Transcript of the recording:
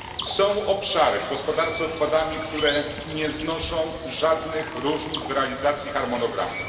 Są obszary w gospodarce odpadami, które nie znoszą żadnych różnic w realizacji harmonogramu.